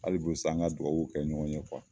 Hali bi sa, an ka dugawuw kɛ ɲɔgɔn ye